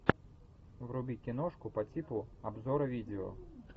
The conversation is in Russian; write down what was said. вруби киношку по типу обзора видео